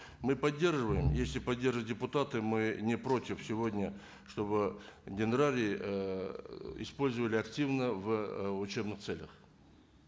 мы поддерживаем если поддерживают депутаты мы не против сегодня чтобы дендрарий ыыы использовали активно в ы учебных целях